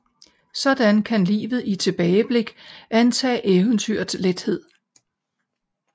Sådan kan livet i tilbageblik antage eventyrets lethed